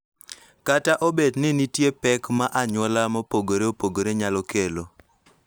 Kata obedo ni nitie pek ma anyuola mopogore opogore nyalo kelo,